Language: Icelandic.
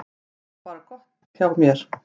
Það var bara allt gott hjá þér.